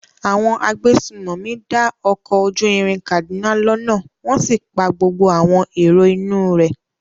Àwọn agbésùnmọ̀mí dá ọkọ̀ ojú irin Kaduna lọ́nà wọ́n sì pa gbogbo àwọn èrò inú un rẹ̀.